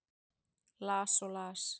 Las og las.